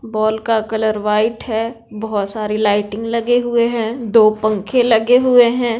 बोल का colour white है बहुत सारी लाइटिंग लगे हुए हैं दो पंखे लगे हुए है।